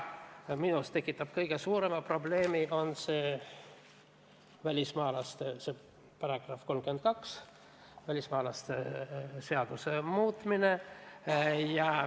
Minu jaoks on kõige suurem probleem § 32, "Välismaalaste seaduse muutmine".